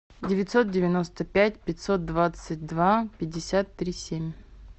девятьсот девяносто пять пятьсот двадцать два пятьдесят три семь